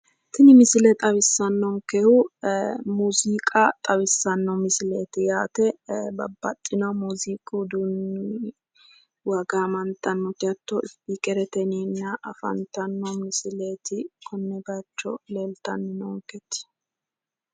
Tini misile xawisanonkehu muziiqa xawisano misileti babbaxino muziiquwa ufuunichiwa gaamantano isipikerete yineemmote kone bayiicho leelittanni noonketi